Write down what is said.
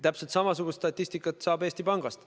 Täpselt samasugust statistikat saab Eesti Pangast.